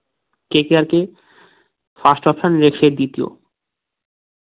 KKR কে first option লেসের দ্বিতীয়